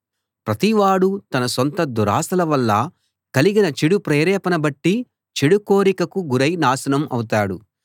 ప్రతివాడూ తన సొంత దురాశల వల్ల కలిగిన చెడు ప్రేరేపణ బట్టి చెడు కోరికకు గురై నాశనం అవుతాడు